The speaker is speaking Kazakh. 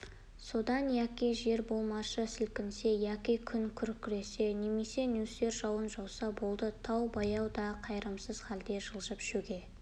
содан яки жер болмашы сілкінсе яки күн күркіресе немесе нөсер жауынжауса болды тау баяу да қайырымсыз халде жылжып шөге